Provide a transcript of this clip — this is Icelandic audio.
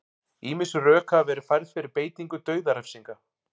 ýmis rök hafa verið færð fyrir beitingu dauðarefsinga